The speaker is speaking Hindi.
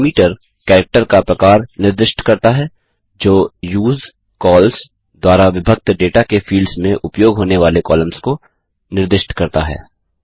डिलीमीटर कैरेक्टर का प्रकार निर्दिष्ट करता है जो यूजकॉल्स द्वारा विभक्त डेटा के फील्ड्स में उपयोग होने वाले कॉलम्स को निर्दिष्ट करता है